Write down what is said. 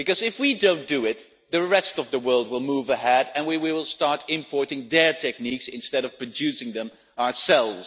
If we do not do it, the rest of the world will move ahead and we will start importing their techniques instead of producing them ourselves.